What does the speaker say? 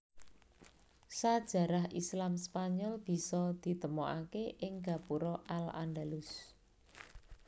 Sajarah Islam Spanyol bisa ditemokaké ing gapura al Andalus